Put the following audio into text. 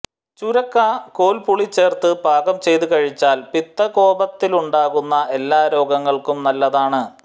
ചുരക്ക കോൽപുളി ചേർത്ത് പാകം ചെയ്ത് കഴിച്ചാൽ പിത്തകോപത്താലുണ്ടാകുന്ന എല്ലാ രോഗങ്ങൾക്കും നല്ലതാണ്